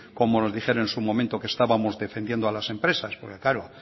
como nos dijeron en su momento que estábamos defendiendo a las empresas porque claro